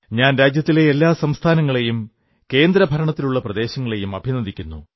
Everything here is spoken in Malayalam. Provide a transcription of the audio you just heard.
ഞാൻ രാജ്യത്തിലെ എല്ലാ സംസ്ഥാനങ്ങളെയും കേന്ദ്രഭരണത്തിലുള്ള പ്രദേശങ്ങളെയും അഭിനന്ദിക്കുന്നു